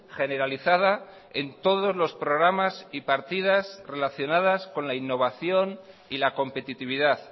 generalizada en todos los programas y partidas relacionadas con la innovación y la competitividad